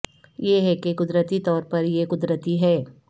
یہ ہے کہ قدرتی طور پر یہ قدرتی ہے